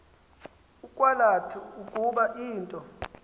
ukwalatha ukuba into